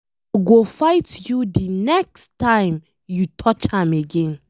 I go fight you the next time you touch am again.